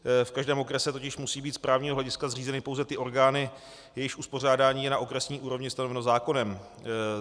V každém okrese totiž musí být z právního hlediska zřízeny pouze ty orgány, jejichž uspořádání je na okresní úrovni stanoveno zákonem.